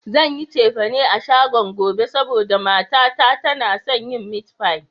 Zan yi cefane a shagon gobe, saboda mata ta tana son yin mit fai